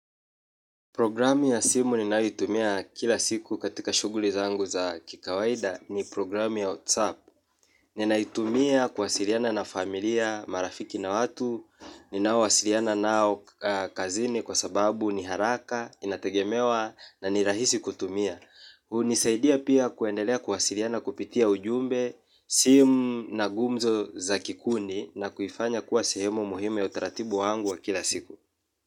Programmu ya simu ninayoitumia kila siku katika shughuli zangu za kikawaida ni programu ya WhatsApp. Ninaitumia kuwasiliana na familia, marafiki na watu, ninao wasiliana nao kazini kwa sababu ni haraka, inategemewa na nirahisi kutumia. Hunisaidia pia kuendelea kuwasiliana kupitia ujumbe sim na ngumzo za kikundi na kuifanya kuwa sehemu muhimu ya utaratibu wangu wa kila siku.